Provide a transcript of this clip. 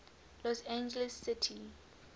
los angeles city